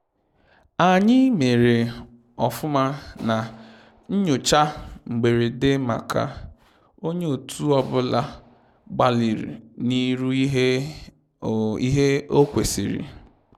Anyị mere ofụma na nyocha mgberede maka onye otu ọ bụla gbalịrị na iru ihe o ihe o kwesịrị